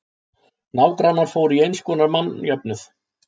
Nágrannar fóru í einskonar mannjöfnuð.